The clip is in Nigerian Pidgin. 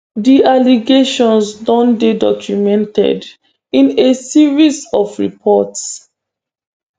di allegations don dey documented in a series of reports